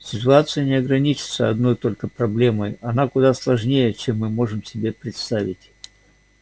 ситуация не ограничивается одной только проблемой она куда сложнее чем мы можем себе представить